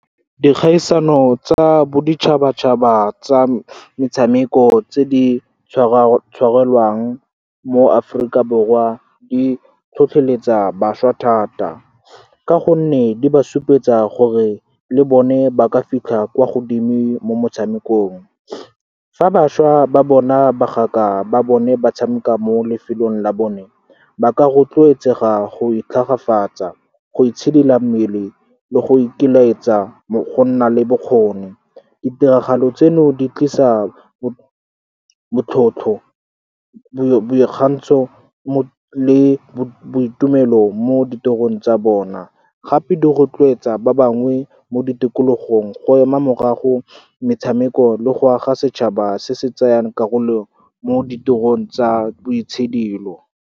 Dikgaisano tsa boditšhabatšhaba tsa metshameko tse di tshwarelwang mo Aforika Borwa di tlhotlheletsa bašwa thata, ka gonne di ba supetsa gore le bone ba ka fitlha kwa godimo mo motshamekong. Fa bašwa ba bona bagaka ba bone ba tshameka mo lefelong la bone, ba ka rotloetsega go itlhagafatsa, go itshidila mmele le go ikelaetsa go nna le bokgoni. Ditiragalo tseno di tlisa botlhotlho, boikgantsho le boitumelo mo ditirong tsa bona. Gape di rotloetsa ba bangwe mo ditikologong go ema morago metshameko le go aga setšhaba se se tsayang karolo mo ditirong tsa boitshidilo.